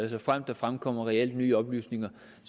og såfremt der fremkommer reelt nye oplysninger